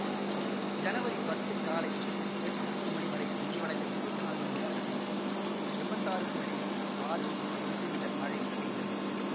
ஜனவரி பத்து காலை எட்டு முப்பது மணி வரை முடிவடைந்த இருவத்தி நாலு மணி நேரத்தில் எம்பத்தி ஆறு புள்ளி ஆறு மில்லி மீட்டர் மழை பெய்தது